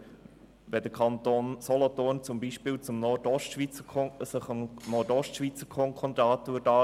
Oder wenn der Kanton Solothurn sich dem Nordostschweizer Konkordat anschliessen würde?